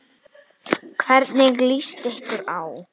Hvernig líst ykkur á?